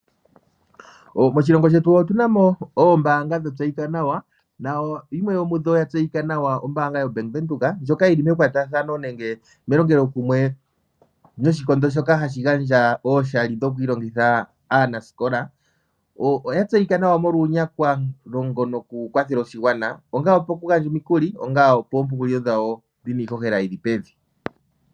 Moshilongo shetu otuna mo ongundu yomahangano goombanga nayimwe ndjono ya tseyika nawa ombaanga yobank Windhoek ndjoka yili mekwatathano nenge melongelokumwe noshikondo shoka hashi gandja ooshali dhokwiilongitha aanasikola. Oya tseyika nawa molwa uunyakwa longa wawo wokukwathela oshigwana onga eyakulo lyilil nawa oshowo iihojela yili pevi.